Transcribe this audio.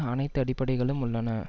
அனைத்து அடிப்படைகளும் உள்ளன